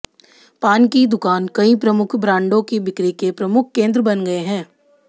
पान की दुकान कई प्रमुख ब्रांडों की बिक्री के प्रमुख केन्द्र बन गए हैं